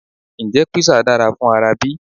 Ǹjẹ́ Písà dára fún ara bí?